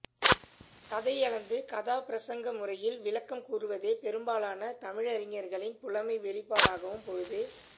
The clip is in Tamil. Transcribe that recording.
கதையளந்து கதாப்பிரசங்க முறையில் விளக்கம் கூறுவதே பெரும்பாலான தமிழறிஞர்களின் புலமை வெளிப்பாடாகவும் பொழுது